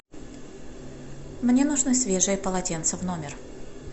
мне нужно свежее полотенце в номер